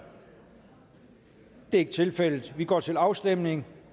det er ikke tilfældet og vi går til afstemning